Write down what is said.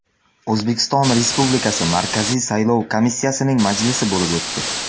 O‘zbekiston Respublikasi Markaziy saylov komissiyasining majlisi bo‘lib o‘tdi.